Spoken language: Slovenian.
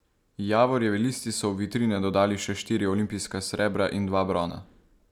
Javorjevi listi so v vitrine dodali še štiri olimpijska srebra in dva brona.